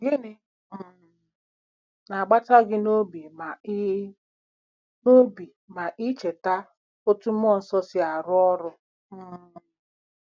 GỊNỊ um na-agbata gị n'obi ma i n'obi ma i cheta otú mmụọ nsọ si arụ ọrụ? um